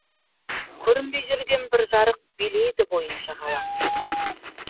көрінбей жүрген бір жарық билейді бойын жағалап